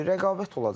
Rəqabət olacaq da.